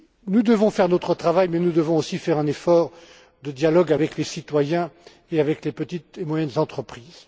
Nous devons faire notre travail, mais nous devons aussi faire un effort de dialogue avec les citoyens et avec les petites et moyennes entreprises.